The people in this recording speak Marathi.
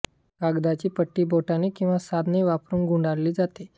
कागदाची पट्टी बोटांनी किंवा साधने वापरुन गुंडाळली जाते